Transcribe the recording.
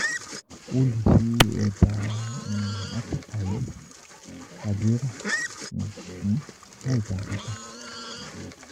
O le ṣe ẹda atọka yii tabi ra ni laijanpata.